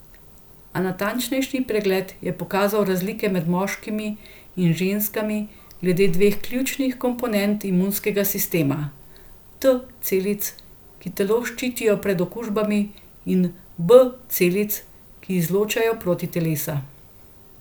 A natančnejši pregled je pokazal razlike med moškimi in ženskami glede dveh ključnih komponent imunskega sistema, T celic, ki telo ščitijo pred okužbami, in B celic, ki izločajo protitelesa.